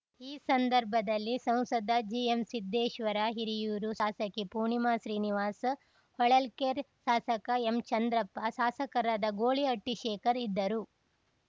ಈ ಸಂದರ್ಭದಲ್ಲಿ ಸಂಸದ ಜಿಎಂಸಿದ್ದೇಶ್ವರ ಹಿರಿಯೂರು ಶಾಸಕಿ ಪೂರ್ಣಿಮಾ ಶ್ರೀನಿವಾಸ್‌ ಹೊಳಲ್ಕೆರೆ ಶಾಸಕ ಎಂಚಂದ್ರಪ್ಪ ಶಾಸಕರಾದ ಗೋಳಿಹಟ್ಟಿಶೇಖರ್‌ ಇದ್ದರು